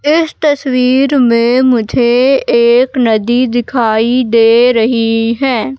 इस तस्वीर में मुझे एक नदी दिखाई दे रही है।